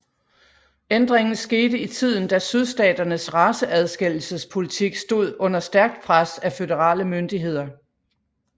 Ændringen skete i tiden da sydstaternes raceadskillesespolitik stod under stærkt pres af føderale myndigheder